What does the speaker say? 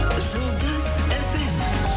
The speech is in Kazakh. жұлдыз фм